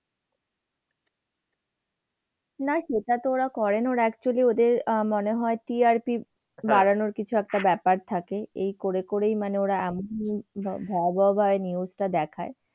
না সেটাতো ওরা করে না। ওরা তো মনে হয় actually আহ মনে হয় TRP বাড়ানোর কিছু একটা ব্যাপার থাকে। এই করে করেই ওরা ভয়াবহভাবে news টা দেখায়।